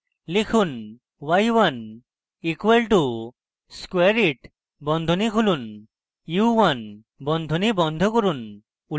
লিখুন: y1 equal to squareit বন্ধনী খুলুন y1 বন্ধনী বন্ধ করুন